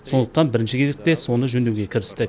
сондықтан бірінші кезекте соны жөндеуге кірістік